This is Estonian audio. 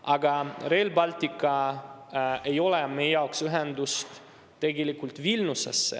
Aga Rail Baltic ei meie jaoks tegelikult ühendust Vilniusega.